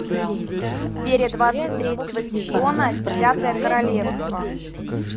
серия двадцать третьего сезона десятое королевство